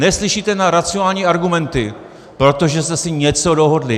Neslyšíte na racionální argumenty, protože jste si něco dohodli.